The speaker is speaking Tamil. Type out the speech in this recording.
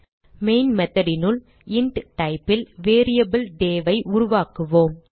மெயின் method னுள் இன்ட் type ல் வேரியபிள் day ஐ உருவாக்குவோம்